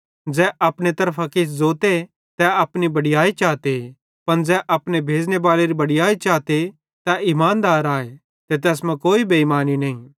ज़ै अपने तरफां किछ ज़ोते तै अपनी बड़याई चाते पन ज़ै अपने भेज़ने बालेरी बड़याई चाते तै ईमानदार आए ते तैस मां कोई बेइमानी नईं